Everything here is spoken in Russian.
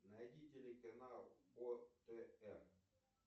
найди телеканал отр